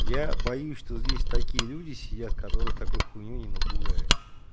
я боюсь что здесь такие люди сидят которых такой хуйнёй не напугаешь